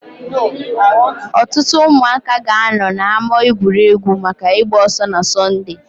Ọtụtụ ụmụaka ga-anọ na ama egwuregwu maka ịgba ọsọ na Sọnde.